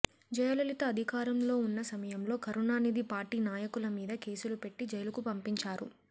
జయలలిత అధికారంలో ఉన్న సమయంలో కరుణానిధి పార్టీ నాయకుల మీద కేసులు పెట్టి జైలుకు పంపించారు